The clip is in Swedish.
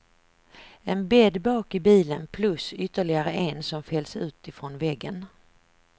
En bädd bak i bilen plus ytterligare en som fälls utifrån väggen.